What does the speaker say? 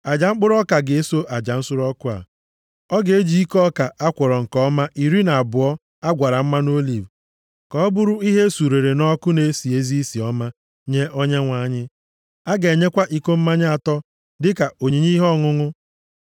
Aja mkpụrụ ọka ga-eso aja nsure ọkụ a. Ọ ga-eji iko ọka a kwọrọ nke ọma iri na abụọ a gwara mmanụ oliv, ka ọ bụrụ ihe e surere nʼọkụ na-esi ezi isi ọma nye Onyenwe anyị. A ga-enyekwa iko mmanya atọ dịka onyinye ihe ọṅụṅụ